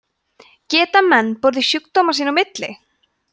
geta menn borið sjúkdóminn sín á milli